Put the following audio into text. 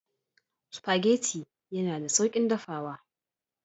Spaghetti yana da sauƙin dafawa.